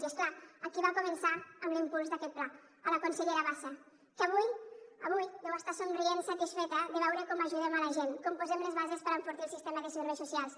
i és clar a qui va començar amb l’impuls d’aquest pla a la consellera bassa que avui deu estar somrient satisfeta de veure com ajudem la gent com posem les bases per enfortir el sistema de serveis socials